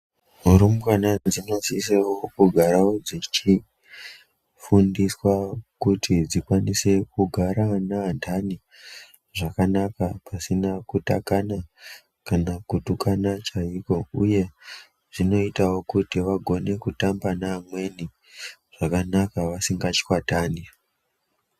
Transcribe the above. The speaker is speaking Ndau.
Rumbwana dzinosise kugare dzeidzidziswa kuti dzikwanise kugara neanhani zvakanaka pasina kutakana kana kutukana chaiko. Zvinoitawo kuti vagone kutamba nevamweni zvakanaka vasingachwatani.